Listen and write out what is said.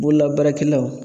Bololabaarakɛlaw